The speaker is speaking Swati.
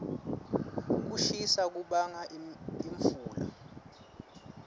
kushisa kubanga imfula